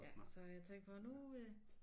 Ja så jeg tænkte på nu øh